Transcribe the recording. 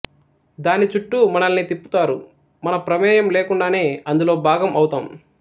దాని చుట్టూ మనల్ని తిప్పుతారు మన ప్రమేయం లోకుండానే అందులో భాగం అవుతాం